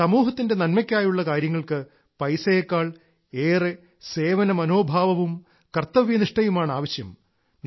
സമൂഹത്തിന്റെ നന്മക്കായുള്ള കാര്യങ്ങൾക്ക് പൈസയെക്കാൾ ഏറെ സേവനമനോഭാവവും കർത്തവ്യനിഷ്ഠയുമാണ് ആവശ്യം